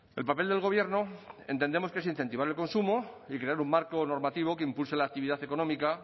el papel del gobierno entendemos que es incentivar el consumo y crear un marco normativo que impulse la actividad económica